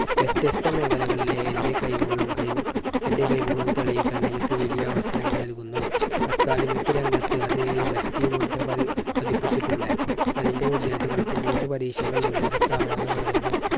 വ്യത്യസ്ത മേഖലകളിലെ എൻറെ കഴിവുകളും കഴിവ് എൻറെ കഴിവുകൾ തെളിയിക്കാൻ എനിക്ക് വലിയ അവസരങ്ങൾ നൽകുന്നു. academic രംഗത്ത് അതേ വ്യക്തിമുദ്ര പതി~പതിപ്പിച്ചിട്ടുണ്ട്. അതിന്റെ വിദ്യാർത്ഥികൾക്ക് board പരീക്ഷകൾ ഉന്നത സ്ഥാപനങ്ങൾ നേടുന്നു.